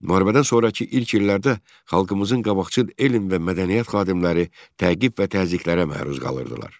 Müharibədən sonrakı ilk illərdə xalqımızın qabaqcıl elm və mədəniyyət xadimləri təqib və təzyiqlərə məruz qalırdılar.